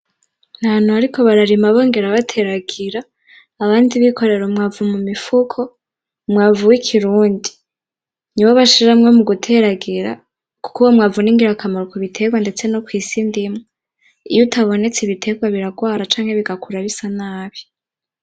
N'ahantu bariko bararima bongera bateragira, abandi bikorera umwavu mumifuko, umwavu w'ikirundi. Niwo bashiramwo muguteragira ,kuko uwo mwavu ningirakamaro kubiterwa ndetse no kw'isi ndimwa iyo utabonetse ibiterwa birarwara canke bigakura bisa nabi.